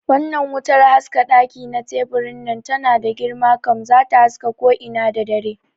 Wannnan wutar haska ɗaki na teburin nan tana da girma kam, zata haska ko ina da dare